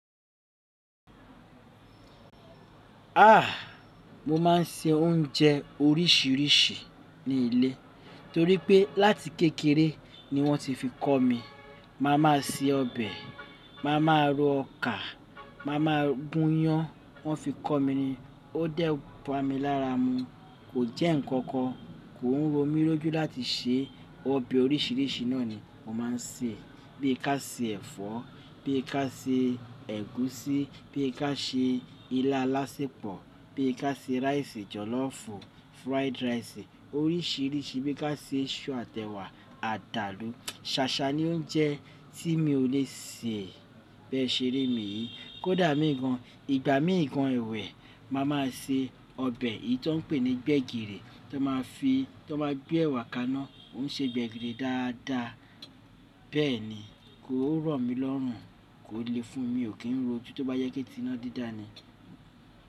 Ah! Mo máa ń se oúnjẹ oríṣiríṣi ní ilé torípé láti kékeré ni wọn ti fi kọ́ mi. Mà má se ọbẹ̀, mà máa ro ọkà, mà máa gún yán. Wọ́n fi kọ́ mi ó dẹ̀ bá mi lára mu. Kò jẹ́ ñkankan, kò ń ro mí lójú láti se ọbẹ̀ oríṣiríṣi naa ni mó má sè bí ka se ẹ̀fọ́, bí ka se ègúsí, bí ka se ilá alásèpọ, bi ka se rice jolofu, fried rice oríṣiríṣi, bi ka se isu àtẹwà àdàlú. Sàsà ni oúnjẹ tí mi ò le sè bẹ sere mi yí. Ah! Mo máa ń se oúnjẹ orísirísi ní ilé torípé láti kékeré ni wọn ti fi kọ́ mi. Bẹ́ẹ̀ni kò ń rọ mí lọrùn, kò le fúnmi, mi ò kì ń lejú tó bá jẹ́ iná dídá ni.